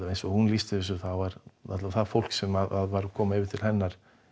eins og hún lýsti þessu þá var það fólk sem var að koma yfir til hennar